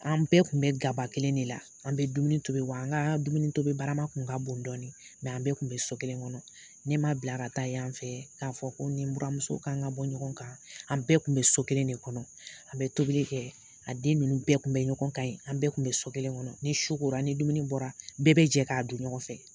An bɛɛ tun bɛ gaba kelen de la an bɛ dumuni tobi wa an ka dumunitobibarama kun ka bon dɔɔnin an bɛɛ tun bɛ so kelen kɔnɔ ne ma bila ka taa yan fɛ k'a fɔ ko n ni n buramuso k'an ka bɔ ɲɔgɔn kan an bɛɛ tun bɛ so kelen de kɔnɔ an bɛ tobili kɛ a den ninnu bɛɛ tun bɛ ɲɔgɔn kan ye an bɛɛ tun bɛ so kelen kɔnɔ ni su kora ni dumuni bɔra bɛɛ bɛ jɛ k'a dun ɲɔgɔn fɛ